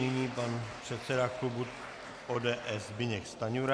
Nyní pan předseda klubu ODS Zbyněk Stanjura.